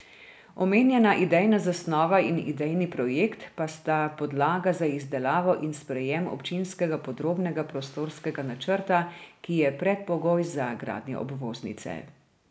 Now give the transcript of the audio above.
Omenjena idejna zasnova in idejni projekt pa sta podlaga za izdelavo in sprejem občinskega podrobnega prostorskega načrta, ki je predpogoj za gradnjo obvoznice.